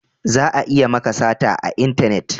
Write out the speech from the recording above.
Za a iya maka sata a intanet